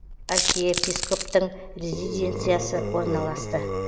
архиепископтың резиденциясы орналасты